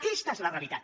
aquesta és la realitat